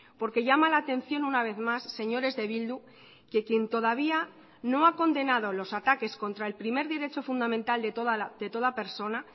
porque llama la atención una vez más señores de bildu que quien todavía no ha condenado los ataques contra el primer derecho fundamental de toda persona